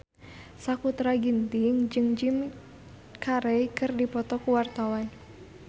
Sakutra Ginting jeung Jim Carey keur dipoto ku wartawan